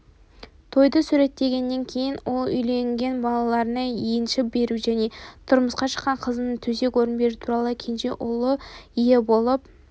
тойды суреттегеннен кейін ол үйленген балаларына енші беру және тұрмысқа шыққан қыздарына төсек-орын беру туралы кенже ұлы ие болып